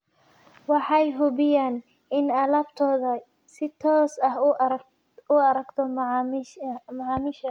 Waxay hubiyaan in alaabtoodu si toos ah u gaarto macaamiisha.